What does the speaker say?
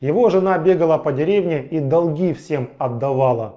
его жена бегала по деревне и долги всем отдавала